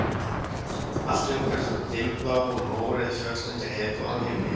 Allt umhverfis voru dimmblá og mórauð fjöll undir heiðbláum himni